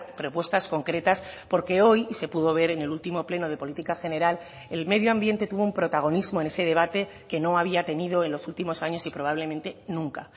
propuestas concretas porque hoy y se pudo ver en el último pleno de política general el medio ambiente tuvo un protagonismo en ese debate que no había tenido en los últimos años y probablemente nunca